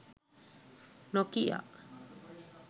nokia